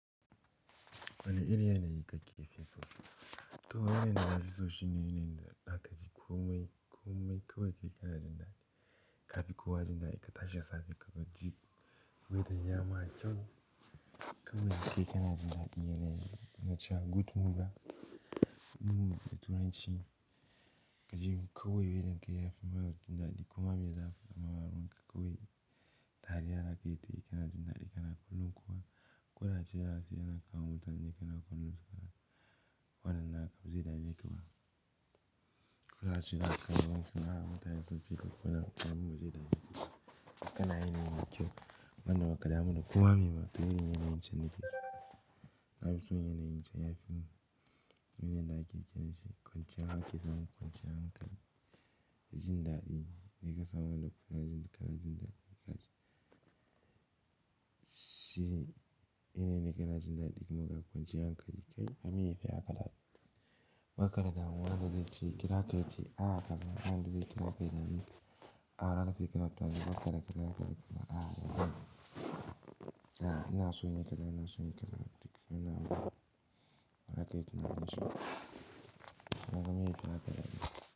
Wani iri yanayi ka ke Fiso? To yanayin da shi ne yanayi n da daza ka ji komai, komai kawai ke kanajin daɗi. Kafi kowa jin daɗi ka tashi a safe ka ji weather yama kyau, kawai ke kanajin daɗi. Yanayi na cewa good mood ba, good mood ba turanci. Ka ji kawai weather ks yafi ma jin daɗi. Koma meza a fada ma baruwanka kawai dariya za ka yi ta yi kanajin daɗi. Kanan kullum kuwa kulla ace za su yana kawo mutane kananan kullum suna kwana nawa su dai yake ba. Kulla ace za a kama wasu na mata yanzu fika kwana goma su dai yake. Kanan ainihin kyau. Wanda ba ka damu da koma mi ma to ina yin daincin nika. Na fi son yana yin can yafi min. Wajen da ake cewa she, kwanciyar hankali ake samu kwanciyar hankali. Jin daɗi na yi kai sama da kuma jin daɗi kanajin daɗi ka ji. Shi yana yi ne kanajin daɗi kuma ga kwanciya han kali kai. Na miye kai haka da baka kada damuwa dazai ce ya kira ya ce a zaka ba. Ba zai kira ka ya neme ka. A haka sai kira ta waje waka da aka yi aka dawo a haka. A ina so in yi kada ina so in yi kada. Amina haka aka ya tunani shi. Amina yafi aka dawo.